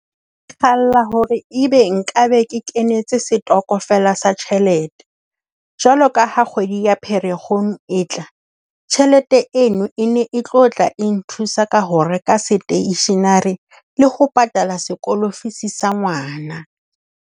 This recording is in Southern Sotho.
Ke kgalla hore ebe nka be ke kenetse setokofela sa tjhelete jwalo ka ha kgwedi ya Pherekgong e tla, tjhelete eno e ne e tlo tla nthusa ka ho reka stationery le ho patala sekolo fees sa ngwana.